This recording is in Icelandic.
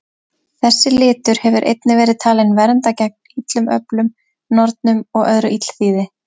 Þessi litur hefur einnig verið talinn vernda gegn illum öflum, nornum og öðru illþýði.